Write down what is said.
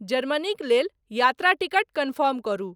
जर्मनीक लेल यात्रा ticket confirm करू